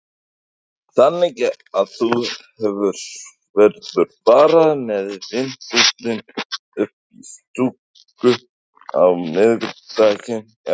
Þannig að þú verður bara með vindilinn uppi í stúku á miðvikudaginn eða hvað?